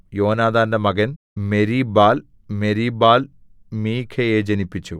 യോനാഥാന്റെ മകൻ Meribbaal Meribbaal മീഖയെ ജനിപ്പിച്ചു